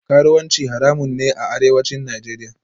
Karuwanci haramun ne a Arewacin Najeriya